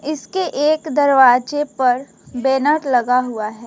इसके एक दरवाजे पर बैनर लगा हुआ है।